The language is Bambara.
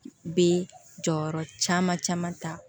Bɛ jɔyɔrɔ caman caman ta